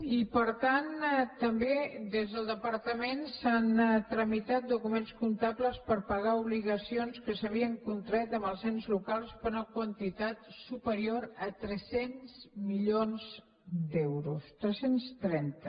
i per tant també des del departament s’han tramitat documents comptables per pagar obligacions que s’havien contret amb els ens locals per una quantitat superior a tres cents milions d’euros tres cents i trenta